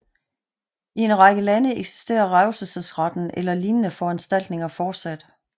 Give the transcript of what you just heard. I en række lande eksisterer revselsretten eller lignende foranstaltninger fortsat